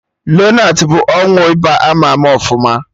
Lonart bụ ọgwụ ịba ama ama ọfụma